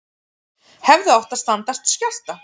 Hefðu átt að standast skjálfta